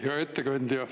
Hea ettekandja!